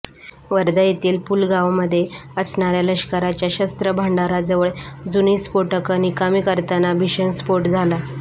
वर्धा येथील पुलगावमध्ये असणाऱ्या लष्कराच्या शस्त्र भांडाराजवळ जुनी स्फोटकं निकामी करताना भीषण स्फोट झाला